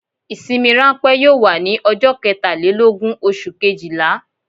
Ìsinmi ránpẹ́ yóò wà ní ọjọ́ ketàlélógún oṣù kejìlá